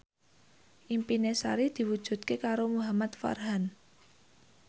impine Sari diwujudke karo Muhamad Farhan